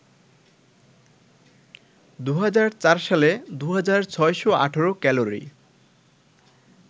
২০০৪ সালে ২৬১৮ক্যালোরি